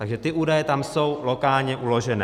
Takže ty údaje tam jsou lokálně uložené.